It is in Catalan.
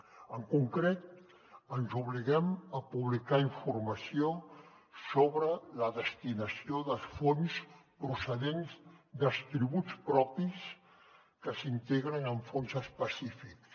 en concret ens obliguem a publicar informació sobre la destinació dels fons procedents dels tributs propis que s’integren en fons específics